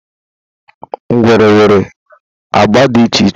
Ngwere nwere agba dị iche iche.